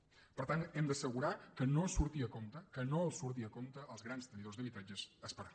per tant hem d’assegurar que no surti a compte que no els surti a compte als grans tenidors d’habitatges esperar